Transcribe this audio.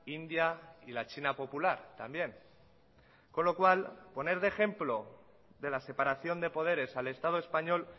india y la china popular también con lo cual poner de ejemplo de la separación de poderes al estado español